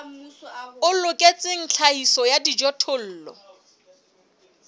o loketseng tlhahiso ya dijothollo